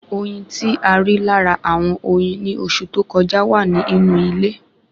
Oyin tí a rí lára àwọn oyin ni oṣù tó kọjá wa ni inu ile